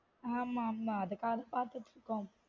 ஆமா மா அதுக்காக பார்த்துட்டுருக்கோம்